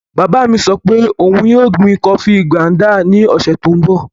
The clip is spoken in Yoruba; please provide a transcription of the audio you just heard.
Bàbá mi sọ pé òun yóò gbin kọọfí ngándà ní ọ̀sẹ̀ tó n bọ̀